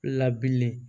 Labililen